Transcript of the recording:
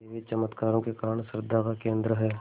देवी चमत्कारों के कारण श्रद्धा का केन्द्र है